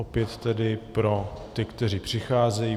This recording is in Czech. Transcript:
Opět tedy pro ty, kteří přicházejí.